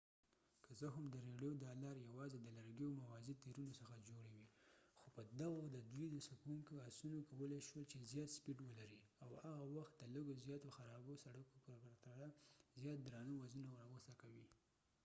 که څه هم د رېړیو دا لارې یواځې د لرګیو موازي تیرونو څخه جوړې وې خو په دغو د دوی څکوونکو اسونو کولای شول چې زیات سپیډ ولري او د هغه وخت د لږو زیاتو خرابو سړکونو په پرتله زیات درانه وزنونه راوڅکوي